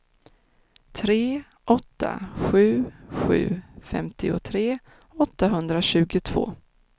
tre åtta sju sju femtiotre åttahundratjugotvå